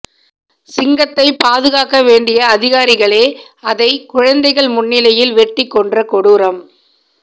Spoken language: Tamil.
சிங்கத்தை பாதுகாக்க வேண்டிய அதிகாரிகளே அதை குழந்தைகள் முன்னிலையில் வெட்டிக் கொன்ற கொடூரம்